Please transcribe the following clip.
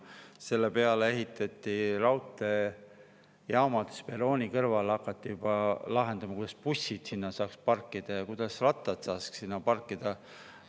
Selle põhjal ehitati raudteejaamad, hakati juba, kuidas saaks perrooni kõrval bussid parkida ja kuidas saaks seal rattaid parkida.